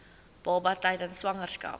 baba tydens swangerskap